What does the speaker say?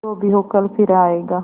जो भी हो कल फिर आएगा